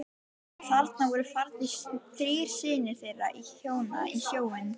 Þarna voru farnir þrír synir þeirra hjóna í sjóinn.